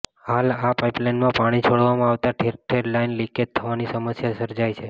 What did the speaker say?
હાલ આ પાઇપલાઇનમાં પાણી છોડવામાં આવતા ઠેર ઠેર લાઇન લીકેજ થવાની સમસ્યા સર્જાઇ છે